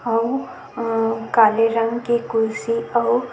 अऊ काले रंग के कुर्सी अऊ--